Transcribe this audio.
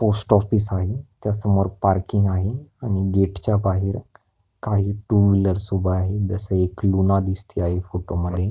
Post office आहे त्या समोर पार्किंग आहे आणि गेटच्या बाहेर काही टू व्हिलर्स उभ्या आहे जस एक लुना दिसती आहे फोटो मध्ये.